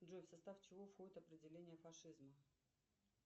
джой в состав чего входит определение фашизм